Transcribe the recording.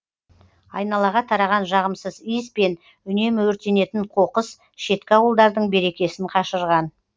айналаға тараған жағымсыз иіс пен үнемі өртенетін қоқыс шеткі ауылдардың берекесін қашырған